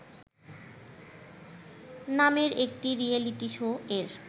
নামের একটি reality show এর